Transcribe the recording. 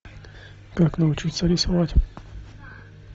как научится рисовать